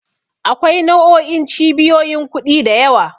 Akwai nau'o'in cibiyoyin kuɗi da yawa.